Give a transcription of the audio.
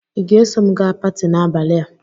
ị ga-eso m gaa paati n'abalị a?